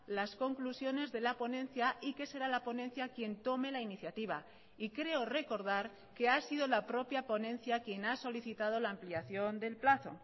las conclusiones de la ponencia y que será la ponencia quien tome la iniciativa y creo recordar que ha sido la propia ponencia quien ha solicitado la ampliación del plazo